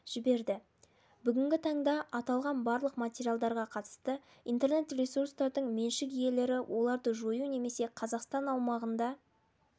жіберді бүгінгі таңда аталған барлық материалдарға қатысты интернет-ресурстардың меншік иелелері оларды жою немесе қазақстан аумағында